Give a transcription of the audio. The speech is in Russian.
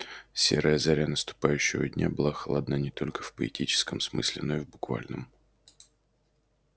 серая заря наступающего дня была холодна не только в поэтическом смысле но и в буквальном